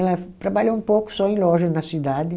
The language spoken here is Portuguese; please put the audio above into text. Ela trabalhou um pouco só em loja na cidade.